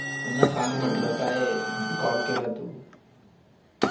पुन्हा सांग म्हटलं. काय call केला तू